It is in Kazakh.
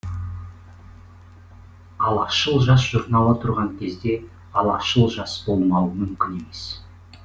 алашшыл жас журналы тұрған кезде алашшыл жас болмауы мүмкін емес